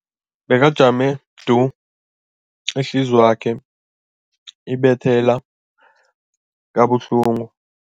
Bekajame du, ihliziyo yakhe ibetha kabuhlungu.